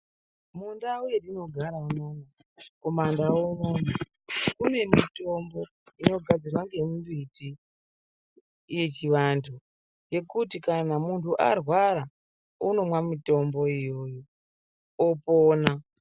Mundau yatinogara inoyi kumandau unono kune mitombo inogadzirwa nemimbiti yechiandu yekuti kana muntu arwara unomwa mutombo iwowo opona.